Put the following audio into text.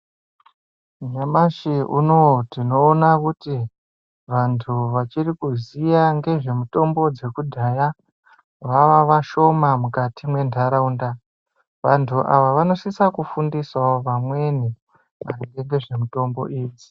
Nyamashi unou tinoona kuti vantu vachiri kuziya ngezvemutombo dzekudhaya vava vashoma mukati mwendaraunda vantu ava vanosisa fundisawo vamweni maringe ngezvemutombo idzi.